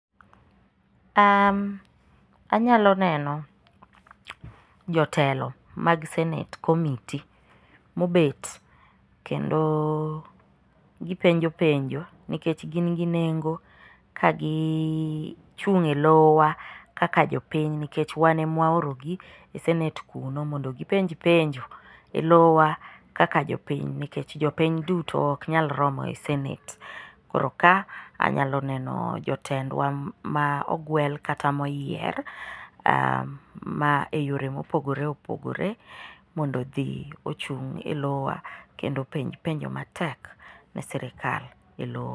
Anyalo neno jotelo mag senate commitee mobet kendo gipenjo penjo nikech gin gi nengo ka gichung' e lowa kaka jopiny nikech wan ema waorogi e senate kuno mondo gipenj penjo e lowa kaka jopiny nikech jopiny duto ok nyal romo e senate. Koro ka anyalo neno jotendwa ma ogwel kata moyier ma eyore mopogore opogore mondo odhi ochung' e lowa kendo openj penj matek ne sirikal e lowo.